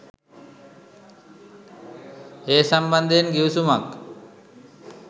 ඒ සම්බන්ධයෙන් ගිවිසුමක්